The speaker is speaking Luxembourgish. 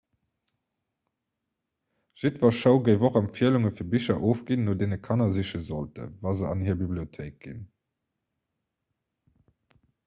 jiddwer show géif och empfielunge fir bicher ofginn no deene kanner siche sollten wa se an hir bibliothéik ginn